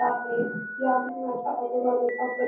आहे या धरणाच्या आजूबाजूचा परि --